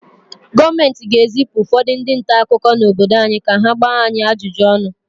Gọọmenti ga-ezipụ ụfọdụ ndị nta akụkọ n’obodo anyị ka ha gbaa anyị ajụjụ ọnụ